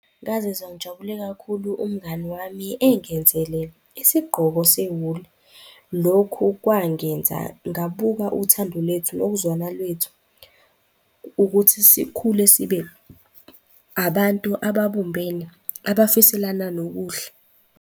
Ngazizwa ngijabule kakhulu umngani wami engenzele isigqoko sewuli. Lokhu kwangenza ngabuka uthando lethu nokuzwana lwethu ukuthi sikhule sibe abantu ababumbene abafiselana nokuhle.